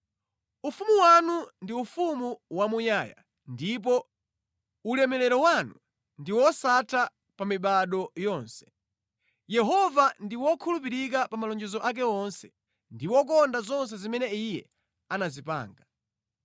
Ufumu wanu ndi ufumu wamuyaya, ndipo ulamuliro wanu ndi wosatha pa mibado yonse. Yehova ndi wokhulupirika pa malonjezo ake onse ndi wokonda zonse zimene Iye anazipanga.